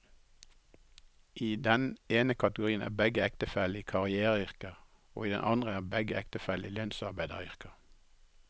I den ene kategorien er begge ektefellene i karriereyrker, og i den andre er begge ektefellene i lønnsarbeideryrker.